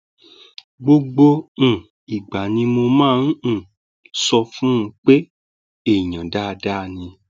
gbogbo um ìgbà ni mo máa um ń sọ fún un pé èèyàn dáadáa ni